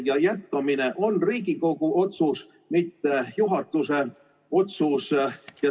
Ja jätkamine on Riigikogu otsus, mitte juhatuse otsus.